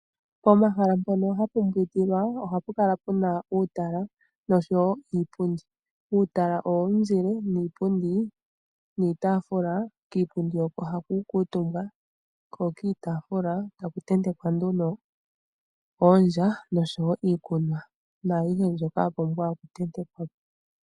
Pomahala mpono hapu mbwindilwa ohapu kala pu na uutala nosho wo iipundi . Uutala owo muzile niipundi niitaafula, kiipundi oko haku kuutumba ,ko kiitaafula taku ntentekwa nduno oondja nosho wo iikunwa naayihe mbyoka ya pumbwa okuntentekwa ko.